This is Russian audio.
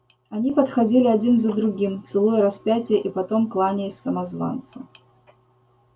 они подходили один за другим целуя распятие и потом кланяясь самозванцу